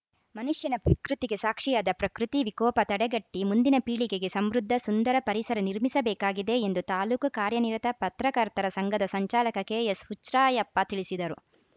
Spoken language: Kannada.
ಮನುಷ್ಯನ ವಿಕೃತಿಗೆ ಸಾಕ್ಷಿಯಾದ ಪ್ರಕೃತಿ ವಿಕೋಪ ತಡೆಗಟ್ಟಿಮುಂದಿನ ಪೀಳಿಗೆಗೆ ಸಮೃದ್ಧ ಸುಂದರ ಪರಿಸರ ನಿರ್ಮಿಸಬೇಕಾಗಿದೆ ಎಂದು ತಾಲೂಕು ಕಾರ್ಯನಿರತ ಪರ್ತಕರ್ತರ ಸಂಘದ ಸಂಚಾಲಕ ಕೆಎಸ್‌ಹುಚ್ರಾಯಪ್ಪ ತಿಳಿಸಿದರು